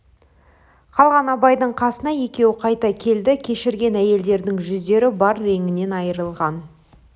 қалған абайдың қасына екеуі қайта келді кешірген әйелдердің жүздері бар реңінен айрылған